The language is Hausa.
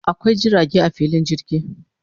Akwai jirage a filin jirgi